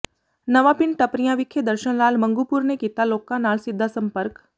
ਨਵਾਂ ਪਿੰਡ ਟੱਪਰੀਆਂ ਵਿਖੇ ਦਰਸ਼ਨ ਲਾਲ ਮੰਗੂਪੁਰ ਨੇ ਕੀਤਾ ਲੋਕਾਂ ਨਾਲ ਸਿੱਧਾ ਸੰਪਰਕ